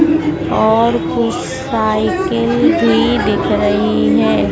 और कुछ साइकिल भी दिख रही है।